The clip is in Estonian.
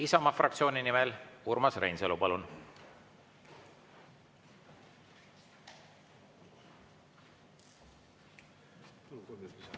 Isamaa fraktsiooni nimel Urmas Reinsalu, palun!